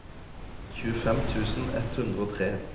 tjuefem tusen ett hundre og tre